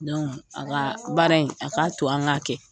a ka baara in, a k'a to an k'a kɛ.